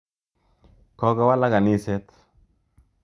Kokowalak kaniset.